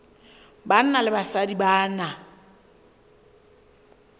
banna le basadi ba na